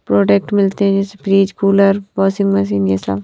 Product मिलते हैं जैसे फ्रिज कूलर वाशिंग मशीन ये सब।